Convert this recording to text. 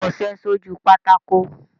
Kọṣẹ́ sójú pátákó